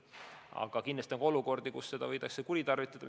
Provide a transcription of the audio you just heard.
Aga kindlasti on ka olukordi, kus seda võidakse kuritarvitada.